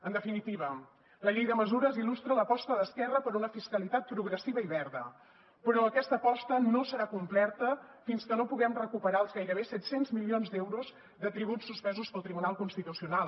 en definitiva la llei de mesures il·lustra l’aposta d’esquerra per una fiscalitat progressiva i verda però aquesta aposta no serà completa fins que no puguem recuperar els gairebé set cents milions d’euros de tributs suspesos pel tribunal constitucional